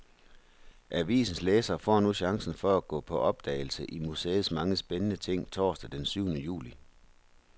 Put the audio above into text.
Avisens læsere får nu chancen for at gå på opdagelse i museets mange spændende ting torsdag den syvende juli.